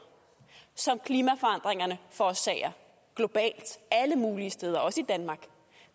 som klimaforandringerne forårsager globalt alle mulige steder også i danmark